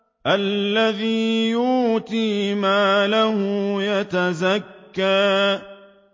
الَّذِي يُؤْتِي مَالَهُ يَتَزَكَّىٰ